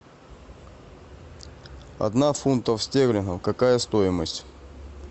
одна фунтов стерлингов какая стоимость